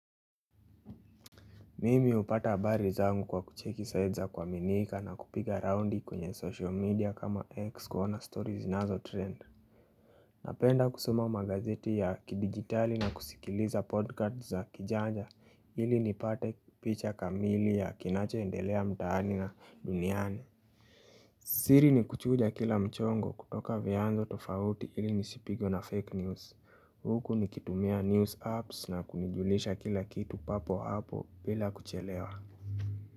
Mimi hupata habari zangu kwa kucheki site za kuaminika na kupiga raundi kwenye social media kama X kuona story zinazotrend. Napenda kusoma magazeti ya kidigitali na kusikiliza podcast za kijanja ili nipate picha kamili ya kinachoendelea mtaani na duniani. Siri ni kuchuja kila mchongo kutoka vianzo tofauti ili nisipigwe na fake news. Huku nikitumia news apps na kujijulisha kila kitu papo hapo bila kuchelewa.